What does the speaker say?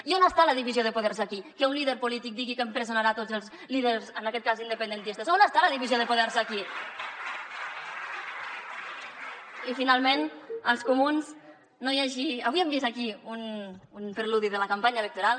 i on està la divisió de poders aquí que un líder polític digui que empresonarà tots els líders en aquest cas independentistes on està la divisió de poders aquí i finalment als comuns avui hem vist aquí un preludi de la campanya electoral